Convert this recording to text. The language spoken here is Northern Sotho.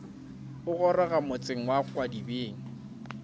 a goroga motseng wa kgwadibeng